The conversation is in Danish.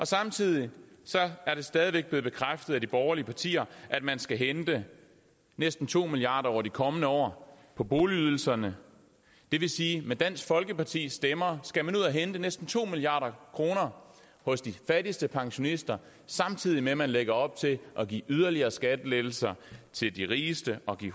samtidig er det stadig væk blevet bekræftet af de borgerlige partier at man skal hente næsten to milliard kroner over de kommende år på boligydelserne det vil sige at med dansk folkepartis stemmer skal man ud og hente næsten to milliard kroner hos de fattigste pensionister samtidig med at man lægger op til at give yderligere skattelettelser til de rigeste og give